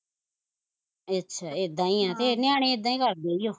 ਅੱਛਾ ਏਦਾ ਈ ਐ ਤੇ ਨਿਆਣੇ ਇੱਦਾਂ ਈ ਕਰਦੇ ਈ ਓ